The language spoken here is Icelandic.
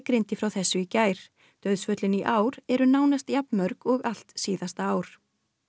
greindi frá þessu í gær dauðsföllin í ár eru nánast jafn mörg og allt síðasta ár